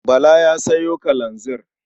Bala ta sayo kalanzir.